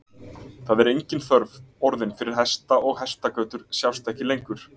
Það er engin þörf orðin fyrir hesta og hestagötur sjást ekki lengur.